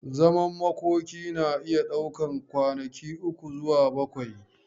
Zaman makoki na iya daukan kwanaki uku zuwa bakwai.